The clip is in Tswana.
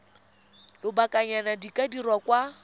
lobakanyana di ka dirwa kwa